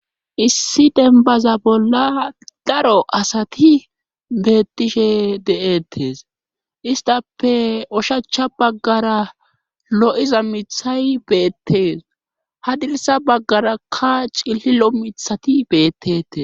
Issi denbaza bolla daro asati beettishe de7'ettes istape oshacha baggara lo'iza mithay beettees hadilsa baggarakka cillilo mithati beettete.